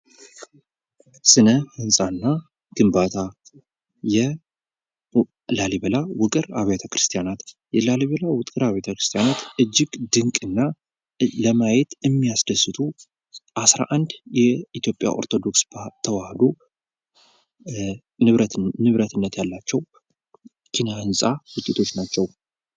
ስነ ህንፃና ግንባታ የላሊበላ ውቅር አብያተ ክርስቲያናት የላሊበላ ውቅር አብያተ ክርስቲያናት እጅግ ድንቅና ለማየት የሚያስደስቱ 11 የኢትዮጵያ ኦርቶዶክስ ተዋህዶ ንብረትነት ያላቸው ኪነ ውጤቶች ናቸው ::